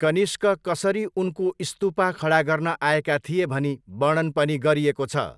कनिष्क कसरी उनको स्तूपा खडा गर्न आएका थिए भनी वर्णन पनि गरिएको छ।